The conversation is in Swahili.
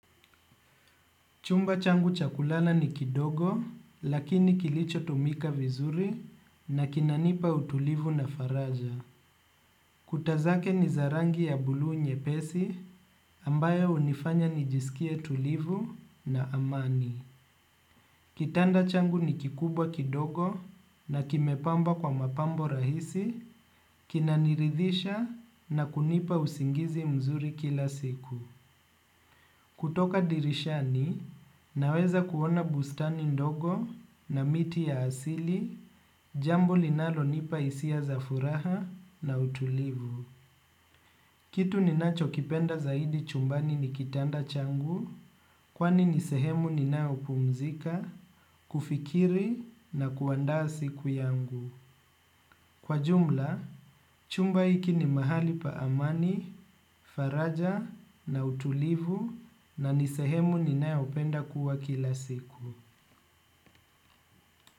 Chumba changu cha kulala ni kidogo lakini kilicho tumika vizuri na kinanipa utulivu na faraja. Kuta zake ni za rangi ya blue nyepesi ambayo hunifanya nijisikie tulivu na amani. Kitanda changu ni kikubwa kidogo na kimepambwa kwa mapambo rahisi kinaniridhisha na kunipa usingizi mzuri kila siku. Kutoka dirishani, naweza kuona bustani ndogo na miti ya asili, jambo linalo nipa hisia za furaha na utulivu. Kitu ninachokipenda zaidi ni kitanda changu kwani ni sehemu ninayopumzika kufikiri na kuandaa siku yangu. Kwa jumla, chumba hiki ni mahali pa amani, faraja na utulivu na ni sehemu ninayo penda kuwa kila siku.